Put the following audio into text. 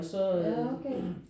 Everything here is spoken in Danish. Ja okay